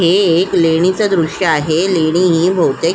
हे एक लेणीच दृश्य आहे लेणी ही बहुतेक--